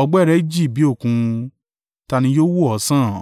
Ọgbẹ́ rẹ jì bí Òkun. Ta ni yóò wò ọ́ sàn?